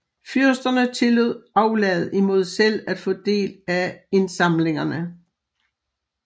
Fyrsterne tillod aflad imod selv at få deres del af indsamlingerne